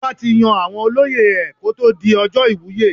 Ọba tí yan àwọn olóyè ẹ̀ kó tó di ọjọ́ ìwúyè.